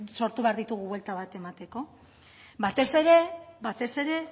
sortu behar ditugu buelta bat emateko batez ere